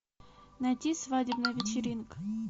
найти свадебная вечеринка